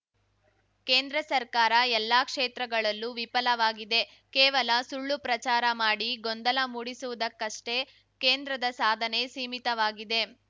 ಕೇಂದ್ರ ಸರ್ಕಾರ ಎಲ್ಲಾ ಕ್ಷೇತ್ರಗಳಲ್ಲೂ ವಿಫಲವಾಗಿದೆ ಕೇವಲ ಸುಳ್ಳು ಪ್ರಚಾರ ಮಾಡಿ ಗೊಂದಲ ಮೂಡಿಸುವುದಕ್ಕಷ್ಟೇ ಕೇಂದ್ರದ ಸಾಧನೆ ಸೀಮಿತವಾಗಿದೆ